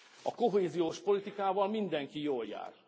A kohéziós politikával mindenki jól jár.